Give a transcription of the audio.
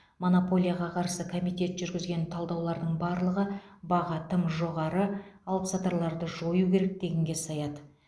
монополияға қарсы комитет жүргізген талдаулардың барлығы баға тым жоғары алыпсатарларды жою керек дегенге саяды